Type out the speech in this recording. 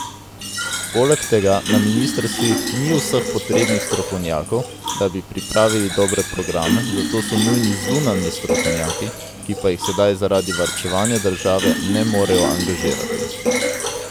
Poleg tega na ministrstvih ni vseh potrebnih strokovnjakov, da bi pripravili dobre programe, zato so nujni zunanji strokovnjaki, ki pa jih sedaj zaradi varčevanja države ne morejo angažirati.